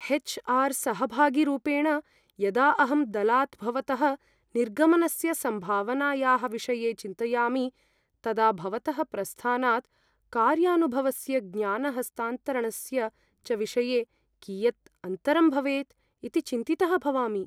H R सहभागीरूपेण, यदा अहं दलात् भवतः निर्गमनस्य सम्भावनायाः विषये चिन्तयामि, तदा भवतः प्रस्थानात् कार्यानुभवस्य ज्ञानहस्तान्तरणस्य च विषये कियत् अन्तरं भवेत् इति चिन्तितः भवामि।